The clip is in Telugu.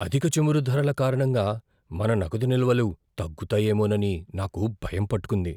అధిక చమురు ధరల కారణంగా మన నగదు నిల్వలు తగ్గుతాయేమోనని నాకు భయం పట్టుకుంది.